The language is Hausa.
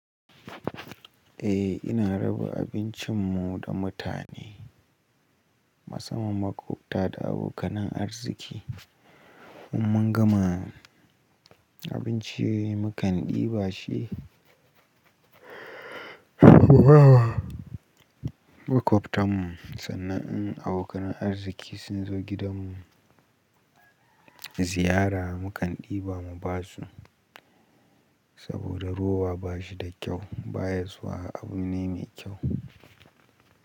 Eh, ina raba abincin mu da mutane, musamman maƙwabta da abokan arziki. Mun gama abinci mukan ɗiba shi maƙwabtarmu, sannan in abokan arziki sun zo gidan mu ziyara mukan ɗiba mu ba su. Saboda rowa ba shi da kyau, ba ya zuwa abu me kyau.